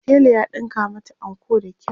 tela ya ɗinka mata anko da kyau.